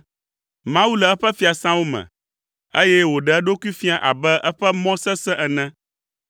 Mawu le eƒe fiasãwo me, eye wòɖe eɖokui fia abe eƒe mɔ sesẽ ene.